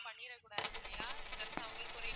பண்ணிடக்கூடாது இல்லையா just அவங்களுக்கு ஒரு